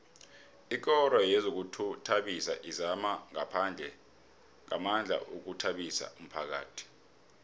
ikoro yezokuzithabisa izama ngamandla ukuthabisa umphakhathi